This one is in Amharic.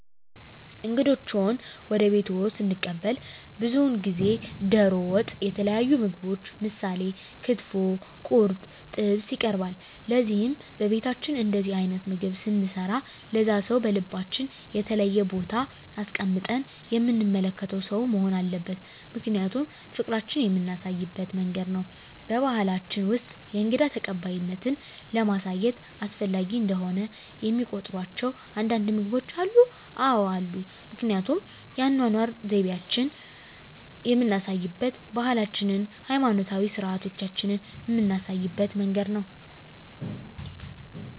እንግዶችዎን ወደ ቤትዎ ስንቀበል ብዙውን ጊዜ ደሮ ወጥ የተለያዩ ምግቦች ምሳሌ ክትፎ ቁርጥ ጥብስ ይቀርባል ለዚህም በቤታችን እንደዚህ አይነት ምግብ ስንሰራ ለዛ ሰው በልባችን የተለየ ቦታ አስቀምጠን የምንመለከተው ሰው መሆን አለበት ምክንያቱም ፍቅራችን የምናሳይበት መንገድ ነው በባሕላችን ውስጥ የእንግዳ ተቀባይነትን ለማሳየት አስፈላጊ እንደሆነ የሚቆጥሯቸው አንዳንድ ምግቦች አሉ? አዎ አሉ ምክንያቱም የአኗኗር ዘይቤአችንን የምናሳይበት ባህላችንን ሀይማኖታዊ ስርአቶቻችንን ምናሳይበት መንገድ ነው